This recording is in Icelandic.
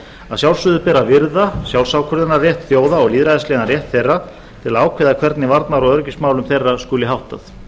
að sjálfsögðu ber að virða sjálfsákvörðunarrétt þjóða og lýðræðislegan rétt þeirra til að ákveða hvernig varnar og öryggismálum þeirra skuli háttað